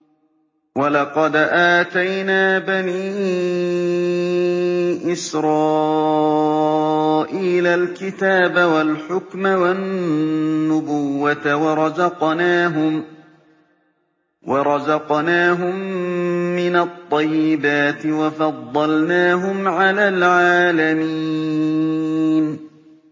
وَلَقَدْ آتَيْنَا بَنِي إِسْرَائِيلَ الْكِتَابَ وَالْحُكْمَ وَالنُّبُوَّةَ وَرَزَقْنَاهُم مِّنَ الطَّيِّبَاتِ وَفَضَّلْنَاهُمْ عَلَى الْعَالَمِينَ